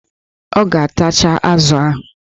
Ọ ga-atacha azụ ahụ